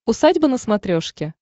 усадьба на смотрешке